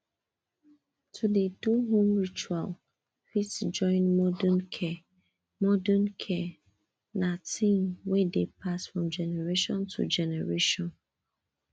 to dey do home ritual fit join modern care modern care na thing wey dey pass from generation to generation